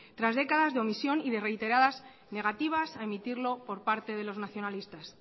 tras décadas de omisión y de reiteradas negativas a emitirlo por parte de los nacionalistas